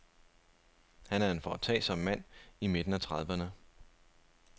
Han er en foretagsom mand i midten af trediverne.